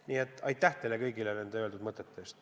Nii et aitäh teile kõigile öeldud mõtete eest!